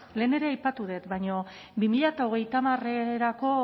lehen ere aipatu dut baina bi mila hogeita hamarrako